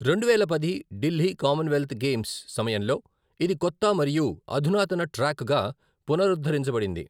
రెండువేల పది Delhi Commonwealth Games సమయంలో ఇది కొత్త మరియు అధునాతన ట్రాక్గా పునరుద్ధరించబడింది.